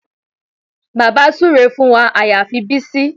Bàbá súre fún wa àyàfi Bísí